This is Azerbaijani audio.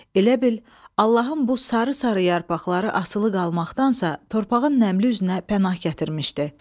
Elə bil, Allahın bu sarı-sarı yarpaqları asılı qalmaqdansa, torpağın nəmli üzünə pənah gətirmişdi.